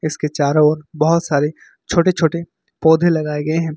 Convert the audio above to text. इसके चारों ओर बहोत सारे छोटे छोटे पौधे लगाए गए हैं।